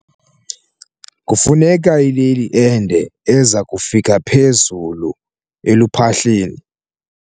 Kufuneka ileli ende eza kufika phezulu eluphahleni.